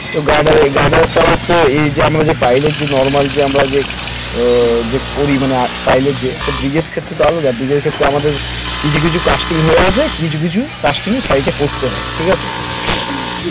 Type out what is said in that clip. তো guarder guarder এই যে আমরা যে pile এর যে normal যে আমরা যে আহ যে করি মানে pile এর যে bridge এর ক্ষেত্রে তো আলাদা bridge এর ক্ষেত্রে তো আমাদের কিছু কিছু casting হয়ে আছে কিছু casting site এ করতে হয় ঠিক আছে